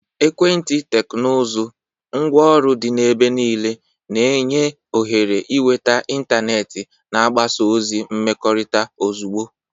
Ekwenti teknụzụ, ngwaọrụ dị n'ebe niile, na-enye ohere ịnweta ịntanetị na mgbasa ozi mmekọrịta ozugbo.